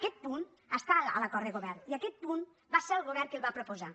aquest punt està a l’acord de govern i aquest punt va ser el govern qui el va proposar